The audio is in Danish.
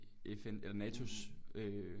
FN eller NATOs øh